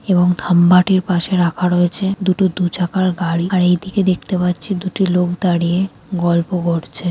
এবং থাম্ব -আটির পাশে রাখা রয়েছে দুটো দুচাকার গাড়ি আর এই দিকে দেখতে পাচ্ছি দুটি লোক দাঁড়িয়ে গল্প করছে।